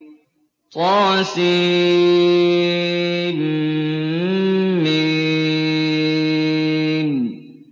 طسم